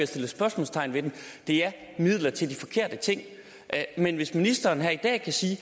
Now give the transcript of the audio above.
sat spørgsmålstegn ved den det er midler til de forkerte ting men hvis ministeren her i dag kan sige at